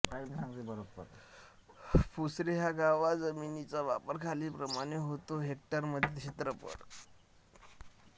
पसूरे ह्या गावात जमिनीचा वापर खालीलप्रमाणे होतो हेक्टरमध्ये क्षेत्रफळ